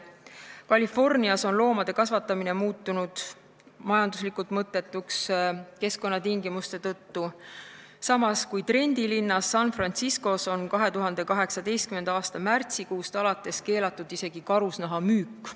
Californias on loomade kasvatamine muutunud majanduslikult mõttetuks keskkonnatingimuste tõttu, samas kui trendilinnas San Franciscos on 2018. aasta märtsikuust alates keelatud isegi karusnaha müük.